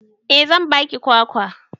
Eh zan ba ki kwakwa.